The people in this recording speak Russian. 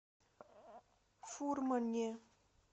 фурмане